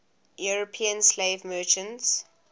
european slave merchants